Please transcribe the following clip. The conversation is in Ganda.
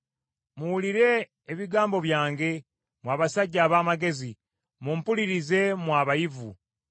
“Muwulire ebigambo byange, mmwe abasajja ab’amagezi; mumpulirize mmwe abayivu.